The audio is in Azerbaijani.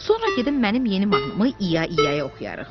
Sonra gedib mənim yeni mahnımı İya-İyaya oxuyarıq,